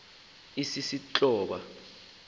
sisistoba